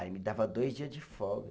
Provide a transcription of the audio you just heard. Aí me dava dois dia de folga.